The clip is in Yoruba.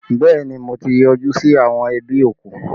Bẹẹ ni, mo ti yọjú sí àwọn ẹbí òkú!